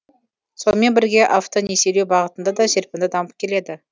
сонымен бірге автонесиелеу бағытында да серпінді дамып келеді